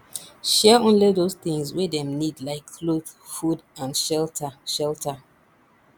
share only those things wey dem need like cloth food and shelter shelter